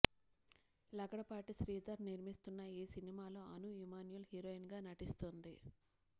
లగడపాటి శ్రీధర్ నిర్మిస్తున్న ఈ సినిమాలో అను ఇమ్మాన్యూయేల్ హీరోయిన్ గా నటిస్తుంది